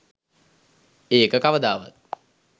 ඒක කවදාවත්